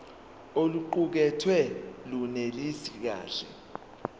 oluqukethwe lunelisi kahle